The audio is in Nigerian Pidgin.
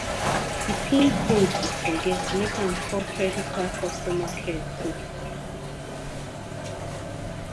di pin code e forget make am call credit card customer care quick